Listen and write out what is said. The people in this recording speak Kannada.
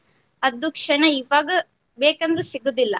ಅದು ಕ್ಷಣ ಈವಾಗ ಬೇಕ್ ಅಂದ್ರು ಸಿಗುದಿಲ್ಲಾ